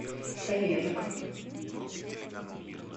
савенко